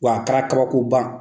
Wa a kɛra kabako ban